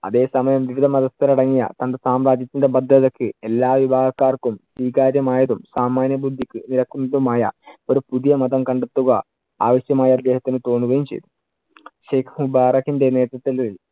അതെ സമയം വിവിധ മതസ്ഥരടങ്ങിയ തന്‍റെ സാമ്രാജ്യത്തിന്‍റെ ഭദ്രതയ്ക്ക് എല്ലാ വിഭാഗക്കാർക്കും സ്വീകാര്യമായതും സാമാന്യ ബുദ്ധിക്ക് നിരക്കുന്നതുമായ ഒരു പുതിയ മതം കണ്ടെത്തുക ആവശ്യമായി അദ്ദേഹത്തിന് തോന്നുകയും ചെയ്തു. ഷേക്ക് മുബാറകിന്‍റെ നേതൃത്വത്തിൽ